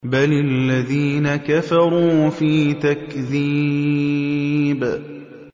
بَلِ الَّذِينَ كَفَرُوا فِي تَكْذِيبٍ